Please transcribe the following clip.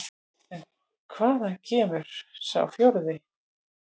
En hvaðan kemur sá forði?